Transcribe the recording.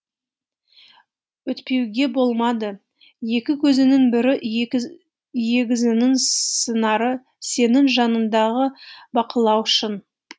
өйтпеуге болмады екі көзіңнің бірі егізіңнің сыңары сенің жаныңдағы бақылаушың